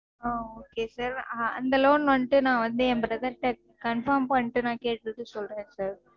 ஆஹ் okay sir அந்த loan வந்துட்டு நா என் brother ட்ட confirm பண்ணிட்டு நா கேட்டுட்டு சொல்றேன் sir.